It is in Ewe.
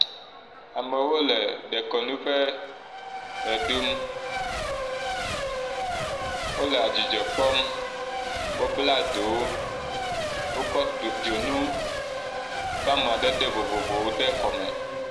Amewo le dekɔnu ƒe ʋeɖum, wole adzidzɔ kpɔm wobla ɖowo wokɔ…do dzonu ƒe amadede vovovowo de kɔme.